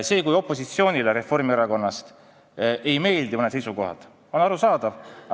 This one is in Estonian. See, kui opositsiooni kuuluvale Reformierakonnale ei meeldi mõned seisukohad, on arusaadav.